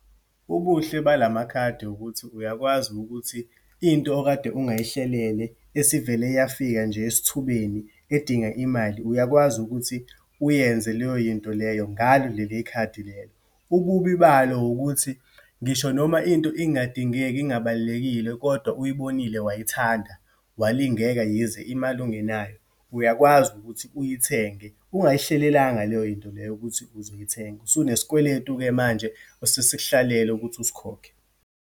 Ubuhle balamakhadi ukuthi uyakwazi ukuthi into okade ungayihlelele esivele yafika nje esithubeni edinga imali, uyakwazi ukuthi uyenze leyo yinto leyo ngalo leli khadi lelo. Ububi balo ukuthi, ngisho noma into ingadingeki, ingabalulekile, kodwa uyibonile wayithanda, walingeka, yize imali ungenayo, uyakwazi ukuthi uyithenge, ungayihlelelanga leyo yinto leyo ukuthi uzoyithenge. Usunesikweletu-ke manje, osesikuhlalele ukuthi usikhokhe.